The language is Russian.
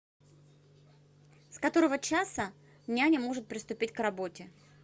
с которого часа няня может приступить к работе